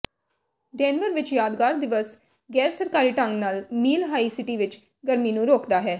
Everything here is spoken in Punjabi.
ਡੇਨਵਰ ਵਿੱਚ ਯਾਦਗਾਰ ਦਿਵਸ ਗੈਰਸਰਕਾਰੀ ਢੰਗ ਨਾਲ ਮੀਲ ਹਾਈ ਸਿਟੀ ਵਿੱਚ ਗਰਮੀ ਨੂੰ ਰੋਕਦਾ ਹੈ